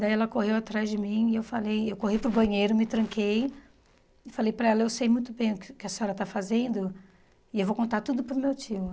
Daí ela correu atrás de mim e eu falei... Eu corri para o banheiro, me tranquei e falei para ela, eu sei muito bem o que que a senhora está fazendo e eu vou contar tudo para o meu tio.